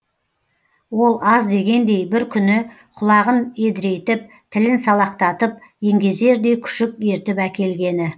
ол аз дегендей бір күні құлағын едірейтіп тілін салақтатып еңгезердей күшік ертіп әкелгені